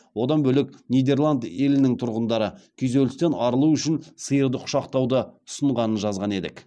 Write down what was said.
одан бөлек нидерланд елінің тұрғындары күйзелістен арылу үшін сиырды құшақтауды ұсынғанын жазған едік